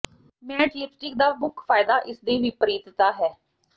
mat lipstick ਦਾ ਮੁੱਖ ਫਾਇਦਾ ਇਸ ਦੀ ਵਿਪਰੀਤਤਾ ਹੈ